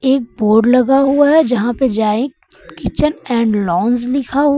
एक बोड लगा हुआ है जहां पे जायक किचन एण्ड लाउंज लिखा हु --